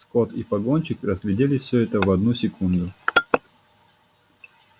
скотт и погонщик разглядели всё это в одну секунду